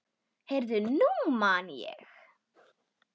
Heyrðu, nú man ég.